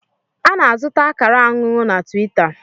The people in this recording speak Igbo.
A na-azụta akara anụnụ na Tiwita.